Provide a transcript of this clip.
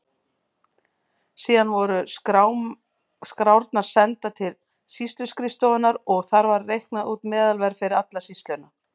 Síðan voru skrárnar sendar til sýsluskrifstofunnar og þar var reiknað út meðalverð fyrir alla sýsluna.